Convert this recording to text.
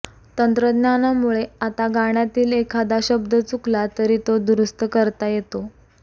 तंत्रज्ञानामुळे आता गाण्यातील एखादा शब्द चुकला तरी तो दुरुस्त करता येतो